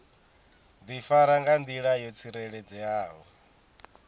difara nga ndila yo tsireledzeaho